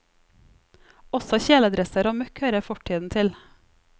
Også kjeledresser og møkk hører fortiden til.